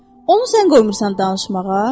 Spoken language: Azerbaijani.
Onu sən qoymursan danışmağa?